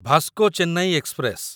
Vasco Chennai express